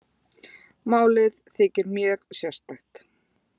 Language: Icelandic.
Málið þykir mjög sérstakt